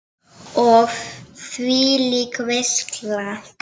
Og þvílík veisla!